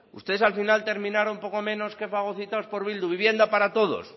ustedes al final terminaron poco menos que fagocitados por eh bildu vivienda para todos